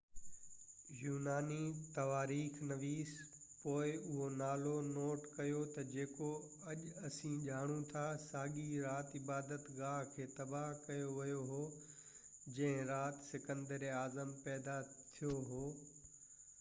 يوناني تواريخ نويس پوءِ اهو نالو نوٽ ڪيو تہ جيڪو اڄ اسين ڄاڻو ٿا ساڳئي رات عبادت گاه کي تباه ڪيو ويو هو جنهن رات سڪندر اعظم پيدا ٿيو هو